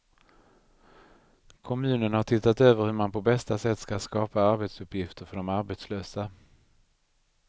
Kommunen har tittat över hur man på bästa sätt ska skapa arbetsuppgifter för de arbetslösa.